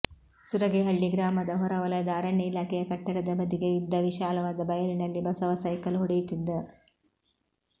ಸುರಗಿಹಳ್ಳಿ ಗ್ರಾಮದ ಹೊರ ವಲಯದ ಅರಣ್ಯ ಇಲಾಖೆಯ ಕಟ್ಟಡದ ಬದಿಗೆ ಇದ್ದ ವಿಶಾಲವಾದ ಬಯಲಿನಲ್ಲಿ ಬಸವ ಸೈಕಲ್ ಹೊಡೆಯುತ್ತಿದ್ದ